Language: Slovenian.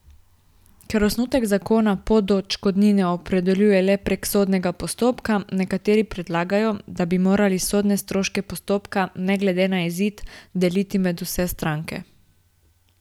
Ker osnutek zakona pot do odškodnine opredeljuje le prek sodnega postopka, nekateri predlagajo, da bi morali sodne stroške postopka ne glede na izid deliti med vse stranke.